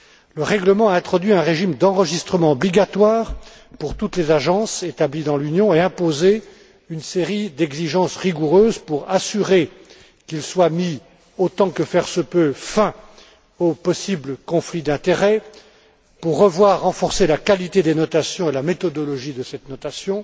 Le règlement a introduit un régime d'enregistrement obligatoire pour toutes les agences établies dans l'Union et imposé une série d'exigences rigoureuses pour assurer qu'il soit mis fin, autant que faire se peut, aux possibles conflits d'intérêts, pour voir renforcées la qualité des notations et la méthodologie de cette notation